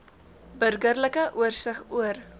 burgerlike oorsig oor